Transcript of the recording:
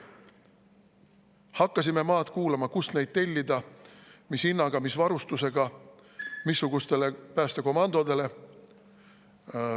Hakkasime maad kuulama, kust neid tellida, mis hinnaga, mis varustusega ja missugustele päästekomandodele.